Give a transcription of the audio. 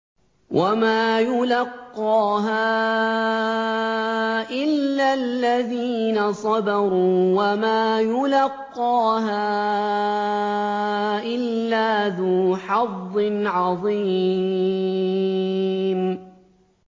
وَمَا يُلَقَّاهَا إِلَّا الَّذِينَ صَبَرُوا وَمَا يُلَقَّاهَا إِلَّا ذُو حَظٍّ عَظِيمٍ